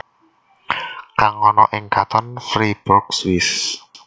Kang ana ing Kanton Fribourg Swiss